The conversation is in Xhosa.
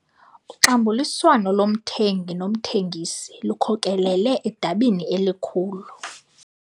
Uxabuliswano lomthengi nomthengisi lukhokelele edabini elikhulu.